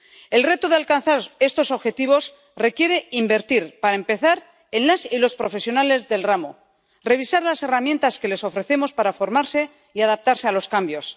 El reto de alcanzar estos objetivos requiere invertir, para empezar, en las y los profesionales del ramo, revisar las herramientas que les ofrecemos para formarse y adaptarse a los cambios.